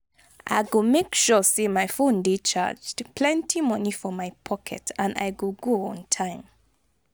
I go make sure say my phone dey charged, plenty money for my pocket and i go go on time.